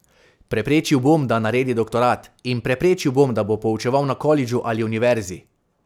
Preprečil bom, da naredi doktorat, in preprečil bom, da bo poučeval na kolidžu ali univerzi.